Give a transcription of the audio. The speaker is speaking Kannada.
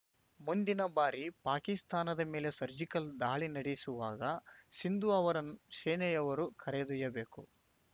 ಮುಂದಿನ ಬಾರಿ ಪಾಕಿಸ್ತಾನದ ಮೇಲೆ ಸರ್ಜಿಕಲ್‌ ದಾಳಿ ನಡೆಸುವಾಗ ಸಿಂದು ಅವರನ್ನೂ ಸೇನೆಯವರು ಕರೆದೊಯ್ಯಬೇಕು